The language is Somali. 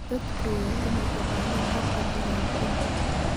Dadku waa inay ogaadaan habka diiwaangelinta.